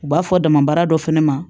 U b'a fɔ dama baara dɔ fɛnɛ ma